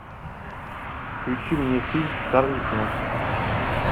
включи мне фильм карлик нос